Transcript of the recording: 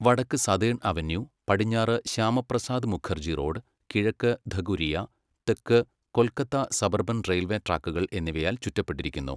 വടക്ക് southern avenue, പടിഞ്ഞാറ് Shyamaprasad Mukherjee road, കിഴക്ക് ധകുരിയ, തെക്ക് കൊൽക്കത്ത സബർബൻ റെയിൽവേ ട്രാക്കുകൾ എന്നിവയാൽ ചുറ്റപ്പെട്ടിരിക്കുന്നു.